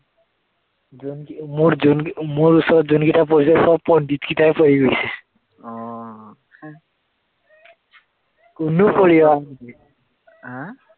যোন কি, মোৰ যোন কি, মোৰ ওচৰত যোন কিটা পৰিছে, সৱ পণ্ডিত কেইটাই পৰি গৈছে কোনো পঢ়ি অহা নাছিল